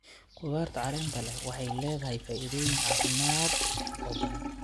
Khudaarta caleenta leh waxay leedahay faa'iidooyin caafimaad oo badan.